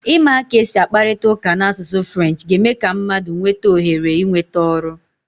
Ịmụ ka esi akparịta ụka n'asụsụ Frenchị ga-eme ka mmadụ nwee ohere ịnweta ọrụ.